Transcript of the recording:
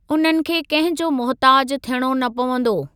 उन्हनि खे कंहिंजो मुहिताजु थियणो न पवंदो।